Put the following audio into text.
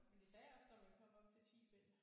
Men de sagde også der ville komme op til 10 bind